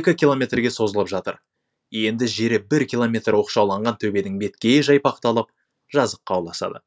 екі километрге созылып жатыр енді жері бір километр оқшауланған төбенің беткейі жайпақталып жазыққа ұласады